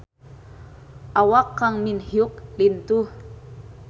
Awak Kang Min Hyuk lintuh